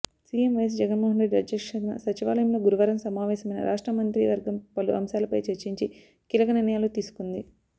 CM YS Jaganmohan Reddy అధ్యక్షతన సచివాలయంలో గురువారం సమావేశమైన రాష్ట్ర మంత్రివర్గం పలు అంశాలపై చర్చించి కీలక నిర్ణయాలు తీసుకుంది